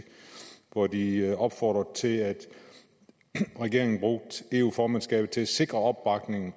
hvor de opfordrede til at regeringen brugte eu formandskabet til at sikre opbakningen